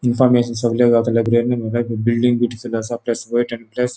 इनफॉर्मेशन सगळे गावताले